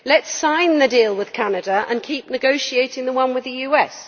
Let us sign the deal with Canada, and keep negotiating the one with the US.